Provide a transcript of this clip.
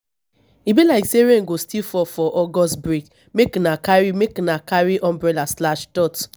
e be like sey rain go still fall for august break make una carry make una carry umbrella.